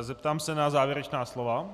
zeptám se na závěrečná slova.